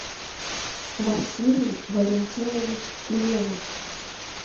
василий валентинович левус